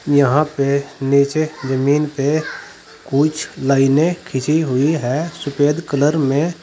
यहां पे नीचे जमीन पे कुछ लाइने खींची हुई हैं सुफेद कलर में।